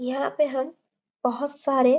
यहाँ पे हम बहुत सारे--